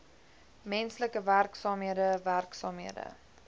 menslike werksaamhede werksaamhede